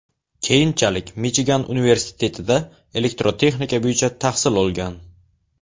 Keyinchalik Michigan universitetida elektrotexnika bo‘yicha tahsil olgan.